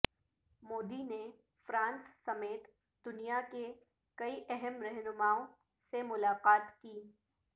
مودی نے فرانس سمیت دنیا کے کئی اہم رہنماوں سے ملاقات کی